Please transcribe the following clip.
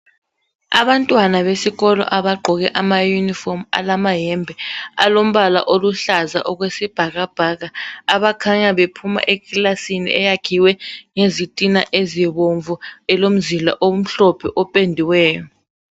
Abantwana besikolo abagqkoke amayunifomu alamayembe alombala oluhlaza okwesibhakabhaka abakhanya bephuma ekilasini eyakhowe ngezitina ezibomvu elomzila omhlophe ependiweyo.